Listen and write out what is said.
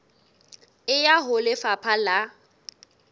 e ya ho lefapha la